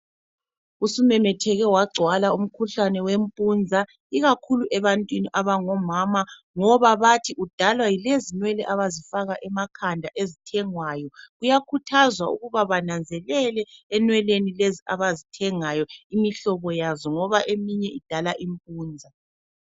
Usumemetheke wagcwala umkhuhlane wempunza ikakhulu ebantwini abangomama ngoba bathi udalwa yilezinwele abazifaka emakhanda ezithengwayo. Kuyakhuthazwa ukuba bananzelele enweleni lezi abazithengayo imihlobo yazo ngoba eminye idala impunza.